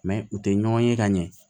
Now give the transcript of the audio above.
u tɛ ɲɔgɔn ye ka ɲɛ